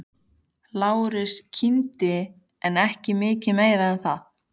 Lárus kímdi en ekki mikið meira en það.